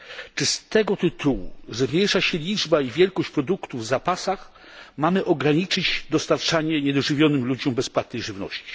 Czy z tego tytułu, że zmniejsza się liczba i wielkość produktów w zapasach, mamy ograniczyć dostarczanie niedożywionym ludziom bezpłatnej żywności?